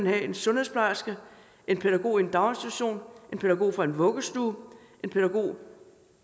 at en sundhedsplejerske en pædagog i en daginstitution en pædagog fra en vuggestue en pædagog